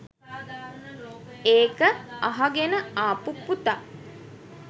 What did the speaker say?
ඒක අහගෙන ආපු පුතා